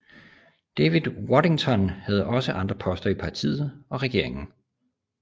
David Waddington havde også andre poster i partiet og regeringen